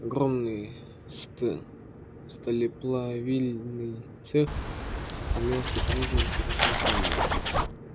огромный сталеплавильный цех имел все признаки разрушения которые никакой искусный ремонт не мог ликвидировать